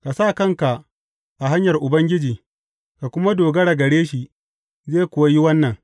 Ka sa kanka a hanyar Ubangiji; ka kuma dogara gare shi zai kuwa yi wannan.